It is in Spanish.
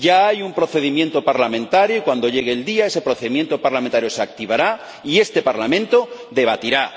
Ya hay un procedimiento parlamentario, y cuando llegue el día ese procedimiento parlamentario se activará y este Parlamento debatirá.